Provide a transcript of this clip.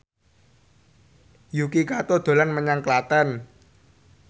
Yuki Kato dolan menyang Klaten